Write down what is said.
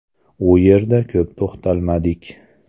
U yerda ko‘p to‘xtalmadik.